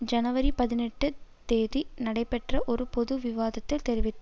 ஜனவரி பதினெட்டுந் தேதி நடைபெற்ற ஒரு பொது விவாதத்தில் தெரிவித்தார்